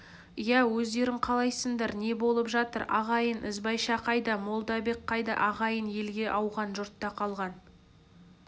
иә өздерің қалайсыңдар не болып жатыр ағайын ізбайша қайда молдабек қайда ағайын елге ауған жұртта қалған